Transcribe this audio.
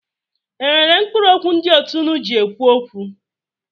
E nwere mkpụrụ okwu ndị òtù unu ji ekwu okwu?